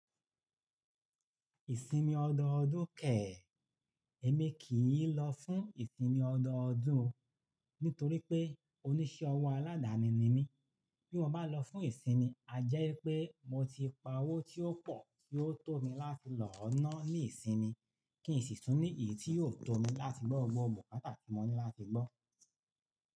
Ìsinmi ọdọọdún kẹ̀ẹ́, èmi kì í lọ fún ìsinmi ọdọọdún nítorí pé oníṣẹ́ ọwọ́ aládàáni ni mí. Bí mo bá lọ fún ìsinmi, a jẹ́ pé mo ti pa owó tí ó pọ̀ tí ó tó mi láti lòó ná ní ìsinmi, kí n sì tún ní èyí tí yóò tó mi láti gbọ́ gbọ́ bùkátà tí mo ní láti gbọ́.